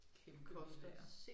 Kæmpevillaer